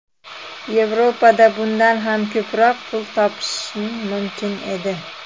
Yevropada bundan ham ko‘proq pul topishim mumkin edi.